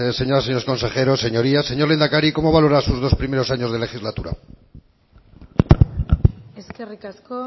señoras y señores consejeros señorías señor lehendakari cómo valora sus dos primeros años de legislatura eskerrik asko